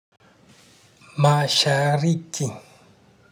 Ma-sha-ri-ki.